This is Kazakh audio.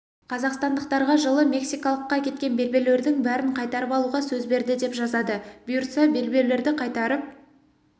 қазақстандықтарға жылы мексикалыққа кеткен белбеулердің бәрін қайтарып алуға сөз берді деп жазады бұйыртса белбеулерді қайтарып